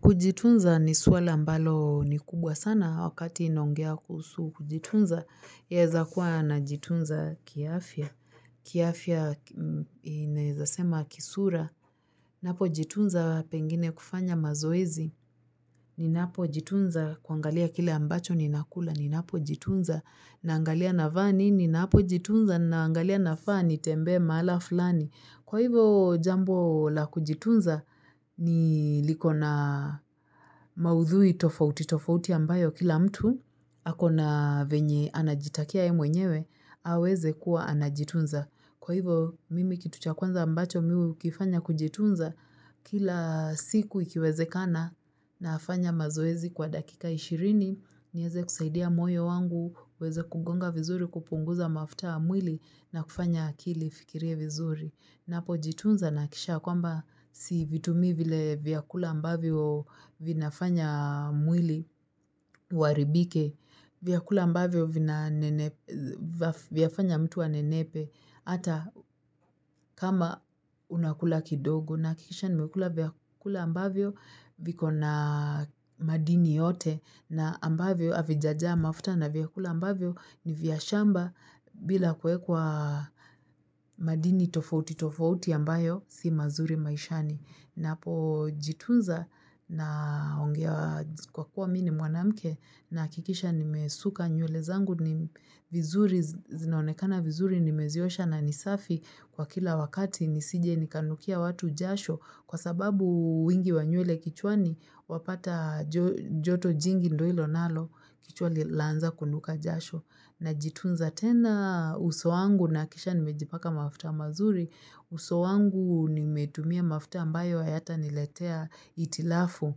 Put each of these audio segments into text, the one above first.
Kujitunza ni swali ambalo ni kubwa sana wakati inaongea kuhusu kujitunza, yaeza kuwa najitunza kiafya, kiafya ninaeza sema kisura, napojitunza pengine kufanya mazoezi, ninapojitunza kuangalia kile ambacho ninakula, ninapojitunza naangalia navaa nini, ninapojitunza ninaangalia nafaa nitembee mahala fulani. Kwa hivo jambo la kujitunza ni liko na maudhui tofauti, tofauti ambayo kila mtu ako na venye anajitakia yeye mwenyewe, aweze kuwa anajitunza. Kwa hivo mimi kitu cha kwanza ambacho mi ukifanya kujitunza kila siku ikiwezekana nafanya mazoezi kwa dakika ishirini, nieze kusaidia moyo wangu, uweze kugonga vizuri kupunguza mafuta ya mwili na kufanya akili ifikirie vizuri. Napo jitunza nahakikisha ya kwamba sivitumii vile vyakula ambavyo vinafanya mwili uaribike, vyakula ambavyo vinanene vyafanya mtu anenepe, ata kama unakula kidogo. Nahakikisha nimekula vyakula ambavyo viko na madini yote na ambavyo avijajaa mafuta na vyakula ambavyo ni vya shamba bila kuekwa madini tofauti tofauti ambayo si mazuri maishani. Napojitunza naongewa kwa kuwa mi ni mwanamke nahakikisha nimesuka nywele zangu ni vizuri zinaonekana vizuri nimeziosha na ni safi kwa kila wakati nisije nikanukia watu jasho kwa sababu wingi wa nywele kichwani wapata joto jingi ndo ilo nalo kichwali laanza kunuka jasho. Najitunza tena uso wangu nahakikisha nimejipaka mafuta mazuri, uso wangu nimetumia mafuta ambayo hayataniletea itilafu.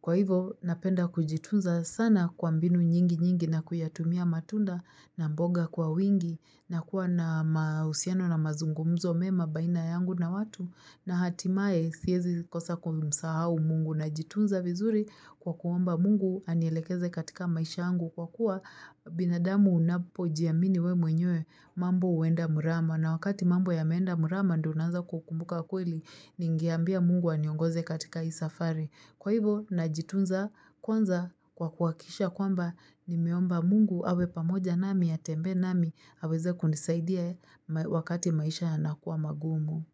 Kwa hivo napenda kujitunza sana kwa mbinu nyingi nyingi na kuyatumia matunda na mboga kwa wingi na kuwa na mausiano na mazungumzo mema baina yangu na watu. Na hatimaye siezi kosa kumsahau mungu najitunza vizuri kwa kuomba mungu anielekeze katika maisha yangu kwa kuwa binadamu unapojiamini we mwenyewe mambo uenda murama na wakati mambo yameenda murama ndo unaanza kukumbuka kweli ningeambia mungu aniongoze katika isafari kwa hivo najitunza kwanza kwa kuhakikisha kwamba nimeomba mungu awe pamoja nami atembee nami aweze kunisaidia wakati maisha yanakuwa magumu.